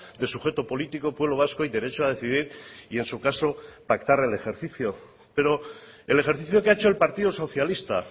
de sujeto político pueblo vasco y derecho a decidir y en su caso pactar el ejercicio pero el ejercicio que ha hecho el partido socialista